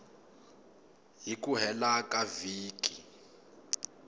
hi ku hela ka vhiki